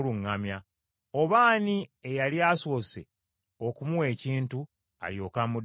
“Oba ani eyali asoose okumuwa ekintu, alyoke amuddizeewo?”